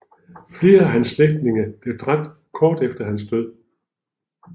Flere af hans slægtninge blev dræbt kort efter hans død